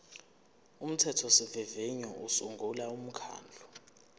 umthethosivivinyo usungula umkhandlu